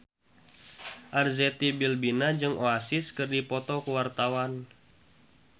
Arzetti Bilbina jeung Oasis keur dipoto ku wartawan